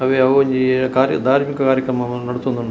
ಅವ್ವೆ ಅವ್ವೊಂಜಿ ಕಾರ್ಯ ಧಾರ್ಮಿಕ ಕಾರ್ಯಕ್ರಮ ನಡತೊಂದು ಉಂಡು.